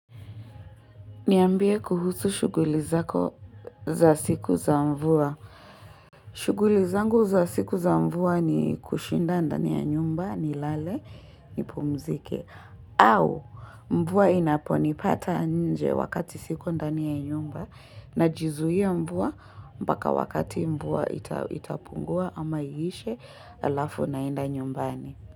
Niambie kuhusu shughuli zako za siku za mvua. Shuguli zangu za siku za mvua ni kushinda ndani ya nyumba nilale nipumzike. Au mvua inaponipata nje wakati siko ndani ya nyumba na jizuia mvua mpaka wakati mvua itapungua ama iishe alafu naenda nyumbani.